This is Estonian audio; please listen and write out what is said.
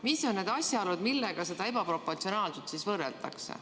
Mis on need asjaolud, millega seda ebaproportsionaalsust võrreldakse?